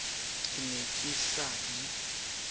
ke ne ke sa di